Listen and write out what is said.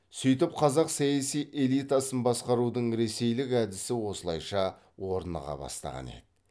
сөйтіп қазақ саяси элитасын баскарудың ресейлік әдісі осылайша орныға бастаған еді